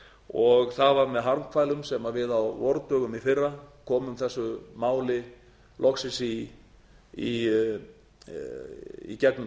og það var með harmkvælum sem við á vordögum í fyrra komum þessu máli loksins í gegnum